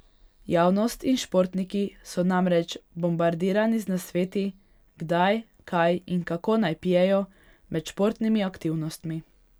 Javnost in športniki so namreč bombardirani z nasveti, kdaj, kaj in kako naj pijejo med športnimi aktivnostmi.